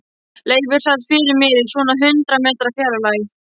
Leifur sat fyrir mér í svona hundrað metra fjarlægð.